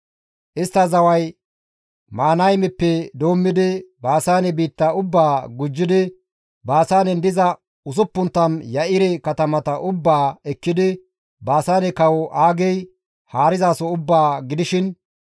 Istta zaway Mahanaymeppe doommidi Baasaane biitta ubbaa gujjidi Baasaanen diza 60 Ya7ire katamata ubbaa ekkidi Baasaane kawo Aagey haarizaso ubbaa gidishin,